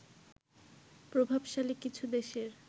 প্রভাবশালী কিছু দেশের